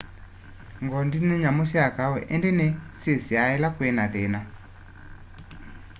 ng'ondi ni nyamu sya kau indi ni syisiaa ila kwina thina